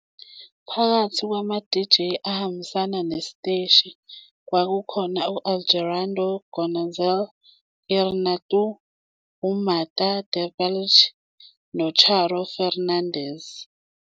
Phakathi kwama-DJ ahambisana nesiteshi kwakukhona u-Alejandro González Iñárritu, uMartha Debayle noCharo Fernández.